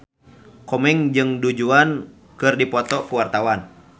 Komeng jeung Du Juan keur dipoto ku wartawan